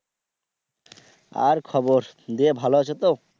আর খবর দিয়ে ভালো আছো তো?